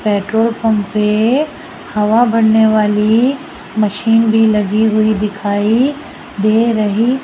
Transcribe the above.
petrol pump पे हवा भरने वाली मशीन भी लगी हुई दिखाई दे रही--